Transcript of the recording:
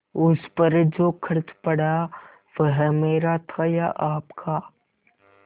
उस पर जो खर्च पड़ा वह मेरा था या आपका